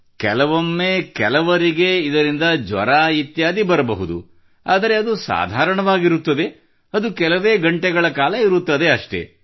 ಕೆಲವೊಮ್ಮೆ ಕೆಲವರಿಗೆ ಇದರಿಂದ ಜ್ವರ ಇತ್ಯಾದಿ ಬರಬಹುದು ಆದರೆ ಅದು ಸಾಧಾರಣವಾಗಿರುತ್ತದೆ ಅದು ಕೆಲವೇ ಗಂಟೆಗಳ ಕಾಲ ಇರುತ್ತದಷ್ಟೇ